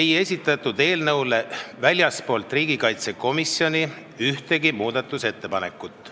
ei esitatud eelnõu kohta väljastpoolt riigikaitsekomisjoni ühtegi muudatusettepanekut.